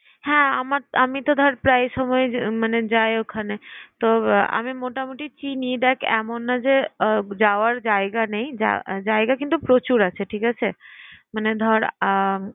হ্যাঁ আমার তো আমি তো প্রায় সময় মানে যাই ওখানে। তো আমি মোটামুটি চিনি। দেখ এমন না যে আহ যাওয়ার জায়গা নেই, জায়গা কিন্তু প্রচুর আছে। ঠিক আছে? মানে ধর আহ